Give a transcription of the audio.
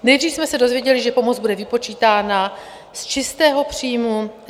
Nejdřív jsme se dozvěděli, že pomoc bude vypočítána z čistého příjmu.